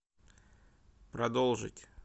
продолжить